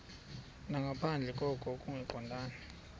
nangaphandle koko kungaqondani